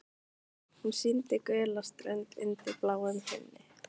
Hún sýndi gula strönd undir bláum himni.